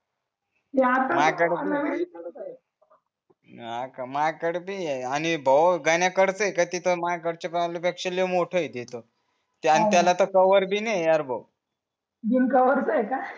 ते आतेने नवीन आहे मार्टकळे ते आणि गणनीया घरचमार्टकळे पेक्षा मोठा हाय प्रॉब्लेम मोठ येत तिथ त्याला तर कवर बिन नाही यार भाऊ बिन कवरच आहे का